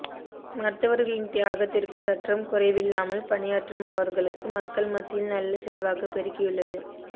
மருத்துவர்களின் தியாகத்திற்கு சற்றும் குறை வில்லாமல் பணியாற்றும் அவர்களுக்கு மக்கள் மத்தியில் நல்ல செல்வாக்கு பெருகியுள்ளது